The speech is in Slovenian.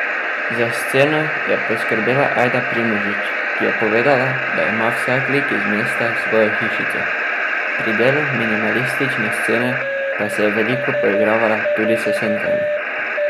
Za sceno je poskrbela Ajda Primožič, ki je povedala, da ima vsak lik iz mesta svojo hišico, pri delu minimalistične scene pa se je veliko poigravala tudi s sencami.